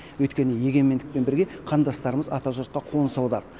өйткені егемендікпен бірге қандастарымыз ата жұртқа қоныс аударды